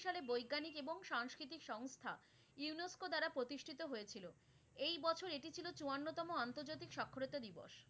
সালে বৈজ্ঞানিক এবং সাংস্কৃতিক সংস্থা UNESCO দ্বারা প্রতিষ্ঠিত হয়েছিলো। এই বছর এটি ছিল চুয়ান্নতম আন্তর্জাতিক স্বাক্ষরতা দিবস।